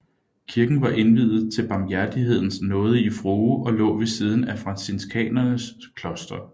Kirken var indviet til Barmhjertighedens nådige frue og lå ved siden af franciskanernes kloster